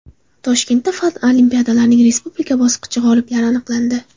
Toshkentda fan olimpiadalarining respublika bosqichi g‘oliblari aniqlandi.